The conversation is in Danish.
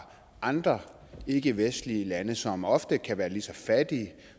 andre ikkevestlige lande som ofte kan være lige så fattige